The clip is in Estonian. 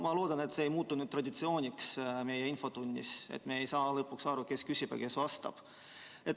Ma loodan, et see ei muutu meie infotunnis traditsiooniks, nii et me ei saa lõpuks aru, kes küsib ja kes vastab.